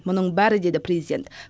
мұның бәрі деді президент